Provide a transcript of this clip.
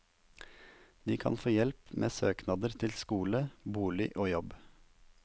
De kan få hjelp med søknader til skole, bolig og jobb.